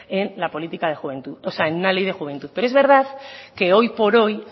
en una ley de juventud pero es verdad que hoy por hoy